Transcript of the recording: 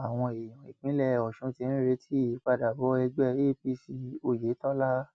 àwọn èèyàn ìpínlẹ ọsùn ti ń retí ìpadàbọ ẹgbẹ apc oyetola